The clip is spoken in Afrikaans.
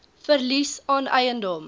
verlies aan eiendom